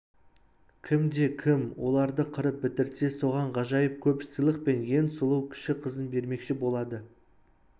кімде-кім оларды қырып бітірсе соған ғажайып көп сыйлық пен ең сұлу кіші қызын бермекші болады